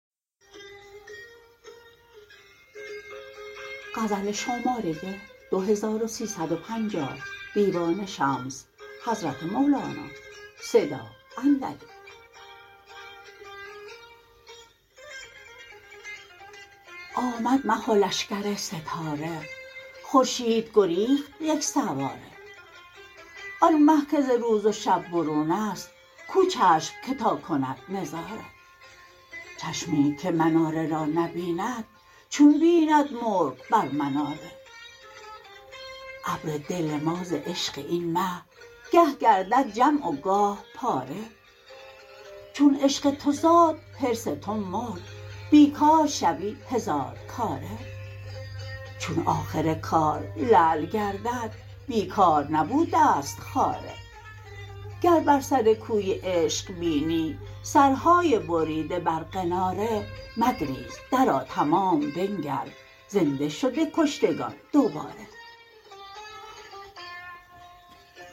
آمد مه و لشکر ستاره خورشید گریخت یک سواره آن مه که ز روز و شب برون است کو چشم که تا کند نظاره چشمی که مناره را نبیند چون بیند مرغ بر مناره ابر دل ما ز عشق این مه گه گردد جمع و گاه پاره چون عشق تو زاد حرص تو مرد بی کار شوی هزارکاره چون آخر کار لعل گردد بی کار نبوده ست خاره گر بر سر کوی عشق بینی سرهای بریده بر قناره مگریز درآ تمام بنگر زنده شده گشتگان دوباره